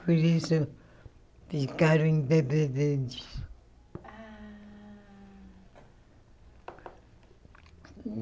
Por isso, ficaram independentes.